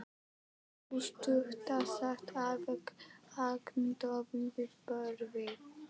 Sú stutta sat alveg agndofa við borðið.